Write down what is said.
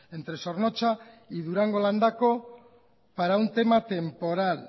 entre zornotza y durando landako para un tema temporal